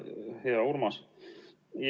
Hea Urmas!